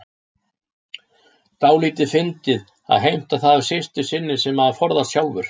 Dálítið fyndið að heimta það af systur sinni sem maður forðast sjálfur.